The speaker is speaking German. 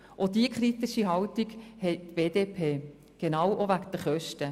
Auch die BDP hat diese kritische Haltung wegen den Kosten